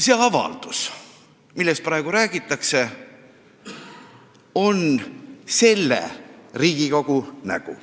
See avaldus, millest praegu räägitakse, on selle Riigikogu nägu.